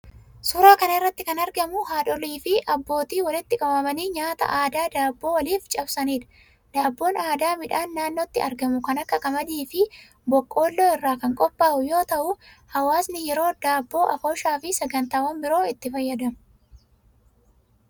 Suuraa kana irratti kan argamu haadholiifi abbootii walitti qabamanii nyaata aadaa daabboo waliif cabsaniidha. Daabboon aadaa midhaan naannootti argamu kan akka qamadiifi boqqolloo irraa kan qophaa'u yoo ta'u, hawaasni yeroo daboo, afooshaafi sagantaawwan biroo itti fayyadamu.